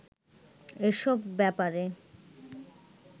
এসব ব্যাপারে